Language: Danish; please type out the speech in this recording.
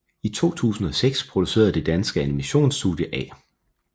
I 2006 producerede det danske animation studie A